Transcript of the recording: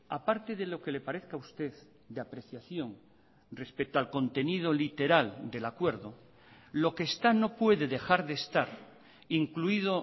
aparte de lo que le parezca a usted de apreciación respecto al contenido literal del acuerdo lo que está no puede dejar de estar incluido